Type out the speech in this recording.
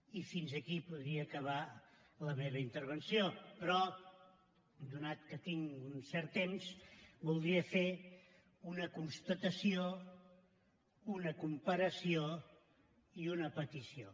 i aquí podria acabar la meva intervenció però atès que tinc un cert temps voldria fer una constatació una comparació i una petició